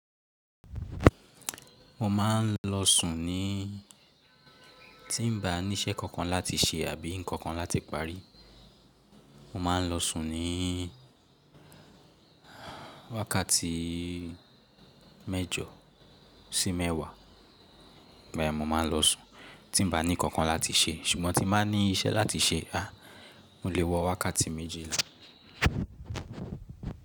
Mo ma n lọ sùn ní tí n ba ní iṣẹ́ kankan láti ṣe àbí nǹkan kan láti parí, mo ma n lọ sùn ní wákàtí mẹ́jọ sí mẹ́wàá, bẹ́ẹ̀ mo ma lọ sùn tí n ba ní kankan láti ṣe. Ṣùgbọ́n tí n máa ní iṣẹ́ láti ṣe, a mo lè wọ wákàtí méjì ni.